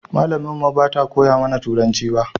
Malamin mu ba ta koya mana turanci ba